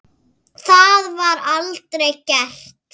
Það var aldrei gert.